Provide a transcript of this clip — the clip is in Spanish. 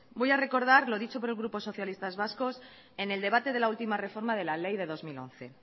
voy a recordar lo dicho por el grupo socialistas vascos en el debate de la última reforma de la ley de dos mil once